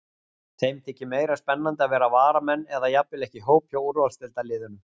Þeim þykir meira spennandi að vera varamenn eða jafnvel ekki í hóp hjá úrvalsdeildarliðunum.